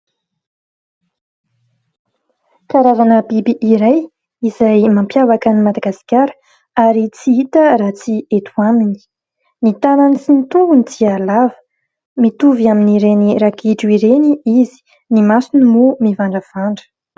Karazana biby iray, izay mampiavaka an'i Madagasikara, ary tsy hita raha tsy eto aminy. Ny tanany sy ny tongony dia lava ; mitovy amin'ireny ragidro ireny izy ; ny masony moa mivandravandra.